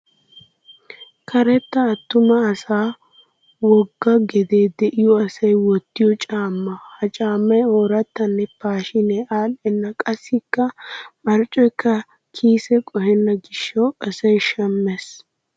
Karetta attuma asaa wogga gedee diyo asay wottiyo caamma. Ha caammay oorattanne paashiinee adhdhenna qassikka marccoyikka kiise qohenna gishawu asay shammes.